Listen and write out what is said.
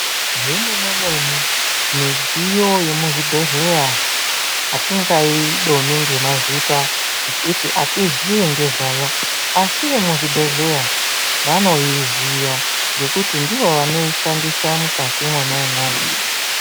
Zvemene mene midziyo yemuchibhedhleya hatingaidomi ngemazita ngekuti hatiziyi ngezvayo, Asi vemuchibhedleya vanoiziya ngekuti ndivo vanoishandisa mwukati mwona imwomwo.